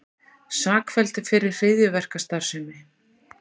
Sakfelldur fyrir hryðjuverkastarfsemi